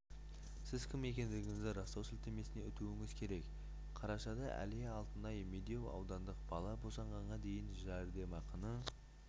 сіз кім екендігіңізді растау сілтемесіне өтуіңіз керек қарашада әлия алтыняй медеу аудандық бала босанғанға дейінгі жәрдемақыны